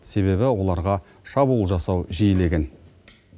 себебі оларға шабуыл жасау жиілеген